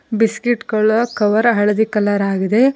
Biscuit ಗಳ cover ಹಳದಿ colour ಆಗಿದೆ.